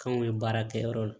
K'anw ye baara kɛ yɔrɔ la